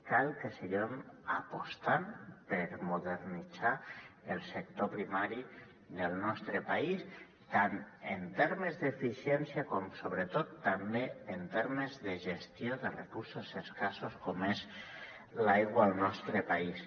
cal que seguim apostant per modernitzar el sector primari del nostre país tant en termes d’eficiència com sobretot també en termes de gestió de recursos escassos com és l’aigua al nostre país